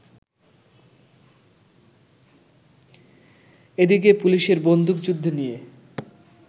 এদিকে পুলিশের বন্দুকযুদ্ধ নিয়ে